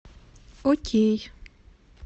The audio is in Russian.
окей